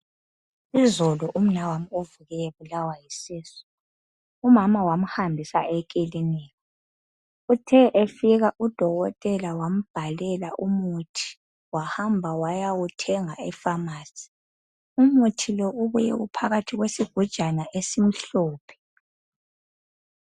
Izolo umnawami uvuke ebulawa yisisu. Umama wamhambisa ekilinika. Uthe efika udokotela wambhalela umuthi wahamba wayawuthenga efamasi. Umuthi lo ubuye uphakathi kwesigujana esimhlophe.